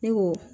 Ne ko